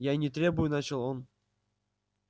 я и не требую начал он